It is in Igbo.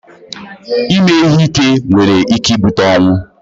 Ịme ihe ike nwere ike ibute ọnwụ